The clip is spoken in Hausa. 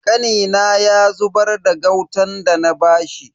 Kanina ya zubar da gautan dana bashi.